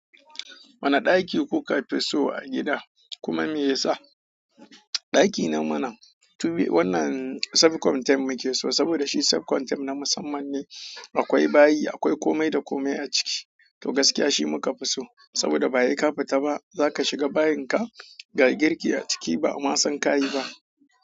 Wane ɗaki kuka fi so a gida kuma me yasa? Daki nan mana to wannan sef konten muke saboda shi sef konten na musamman ne. Akwai bayi, akwai komai da komai a ciki. To gaskiya shi muka fi so saboda ba he ƙafita ba. Zaka shiga bayinka, ga girki aciki ba a ma san ka yi ba.